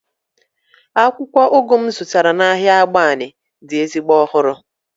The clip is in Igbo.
akwukwo ugu m zụtara n'ahịa agbani dị ezigbo ọhụrụ